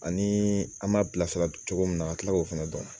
Ani an m'a bilasira cogo min na ka kila k'o fɛnɛ dɔn.